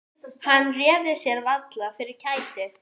Hann réði sér varla fyrir kæti.